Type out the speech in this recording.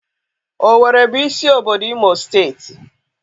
Oweere bụ isi obodo Imo steeti.